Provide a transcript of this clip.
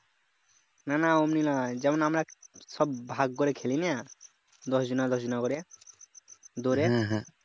না না অমনি নয় যেমন আমরা সব ভাগ করে খেলি নে দশ জনা দশ জনা করে দৌড়ে এ